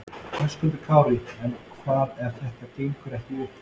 Höskuldur Kári: En hvað ef þetta gengur ekki upp?